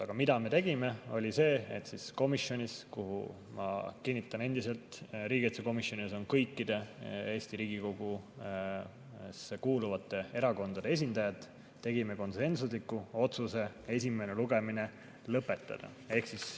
Aga mida me tegime, oli see, et riigikaitsekomisjonis, kus, ma kinnitan endiselt, on kõikide Riigikogusse kuuluvate erakondade esindajad, tegime konsensusliku otsuse esimene lugemine lõpetada.